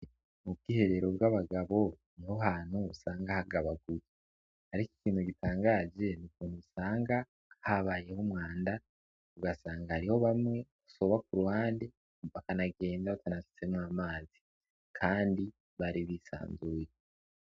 Mu bwiherero bw'abagabo niho hantu usanga hagabaguye, ariko ikintu gitangaje n'ukuntu usanga habayeho umwanda ugasanga hariho bamwe basoba ku ruhande bakanagenda batanasutsemwo amazi, kandi bari bisanzuye.